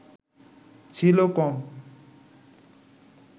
ছিল কম